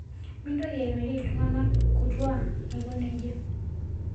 Mintoki airorie ltungana kutuaa aikoneja